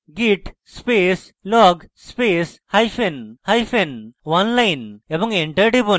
git space log space hyphen hyphen oneline এবং enter টিপুন